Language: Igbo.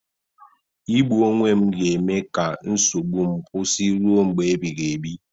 Igbu onwe m ga-eme ka nsogbu m kwụsị ruo mgbe ebighị ebi